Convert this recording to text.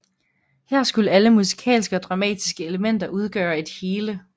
Her skulle alle musikalske og dramatiske elementer udgøre et hele